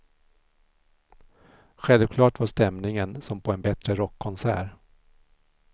Självklart var stämningen som på en bättre rockkonsert.